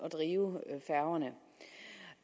at drive færgerne